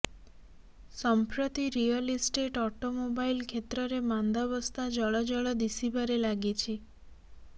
ସମ୍ପ୍ରତି real estate automobile କ୍ଷେତ୍ରରେ ମାନ୍ଦାବସ୍ଥା ଜଳଜଳ ଦିଶିବାରେ ଲାଗିଛି